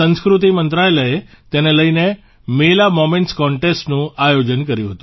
સંસ્કૃતિ મંત્રાલયે તેને લઇને મેલા મોમેન્ટસ કોન્ટેસ્ટનું આયોજન કર્યું હતું